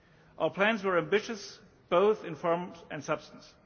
Our plans were ambitious both in form and substance.